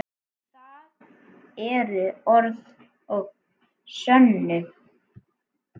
Það eru orð að sönnu.